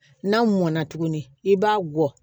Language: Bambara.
N'a mɔnna tuguni i b'a gɔ